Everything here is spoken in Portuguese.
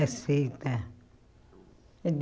Aceita.